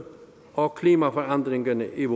og klimaforandringerne i